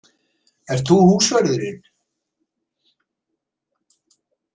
Ert þú húsvörðurinn?